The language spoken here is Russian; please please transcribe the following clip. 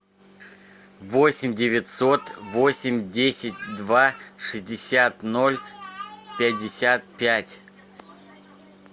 восемь девятьсот восемь десять два шестьдесят ноль пятьдесят пять